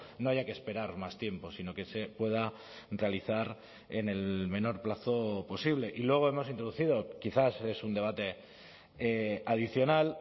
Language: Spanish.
no haya que esperar más tiempo sino que se pueda realizar en el menor plazo posible y luego hemos introducido quizás es un debate adicional